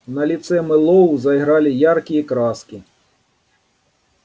на лице мэллоу заиграли яркие краски